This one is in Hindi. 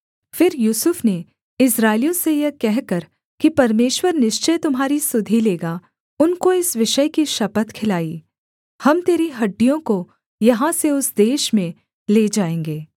फिर यूसुफ ने इस्राएलियों से यह कहकर कि परमेश्वर निश्चय तुम्हारी सुधि लेगा उनको इस विषय की शपथ खिलाई हम तेरी हड्डियों को यहाँ से उस देश में ले जाएँगे